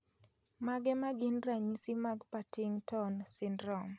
Mage magin ranyisi mag Partington syndrome